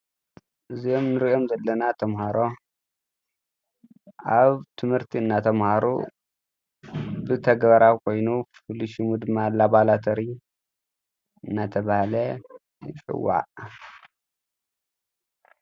እዞም ንሪኦም አለና ተማሃሮ ኣብ ትምህርቲ እናተማሃሩ ብተግባራዊ ኮይኑ ፍሉይ ሽሙ ድማ ላብራቶሪ እንዳተባሃለ ይፅዋዕ።